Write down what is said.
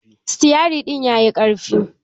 Siteri ɗin yayi ƙarfi